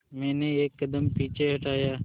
मैंने एक कदम पीछे हटाया